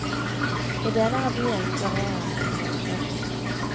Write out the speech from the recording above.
I deler av byen florerer kriminaliteten.